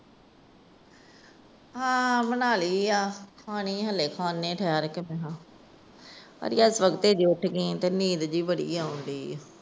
ਹਾਂ ਬਣਾ ਲੀ ਏ। ਖਾਣੀ ਹਜੇ ਖਾਣੇ ਆ ਠਹਿਰ ਕੇ। ਅੱਜ ਤੜਕੇ ਦੀ ਉੱਠ ਗਈ ਆ, ਨੀਂਦ ਜੀ ਬੜੀ ਆਣ ਰਹੀ ਏ।